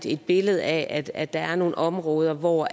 et billede af at der er nogle områder hvor